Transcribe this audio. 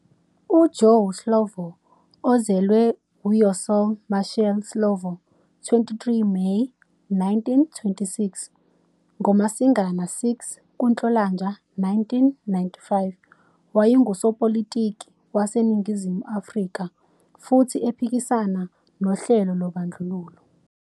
UJoe Slovo, ozelwe uYossel Mashel Slovo, 23 Meyi 1926 - NgoMasingana 6 kuNhlolanja 1995, wayengusopolitiki waseNingizimu Afrika, futhi ephikisana nohlelo lobandlululo.